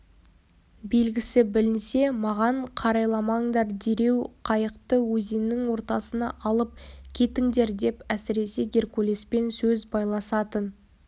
белгісі білінсе маған қарайламаңдар дереу қайықты өзеннің ортасына алып кетіңдер деп әсіресе геркулеспен сөз байласатын